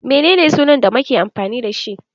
Menene sunan da make amfani dashi?